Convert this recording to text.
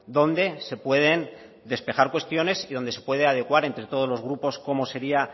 donde se pueden despejar cuestiones y donde se puede adecuar entre todos los grupos como sería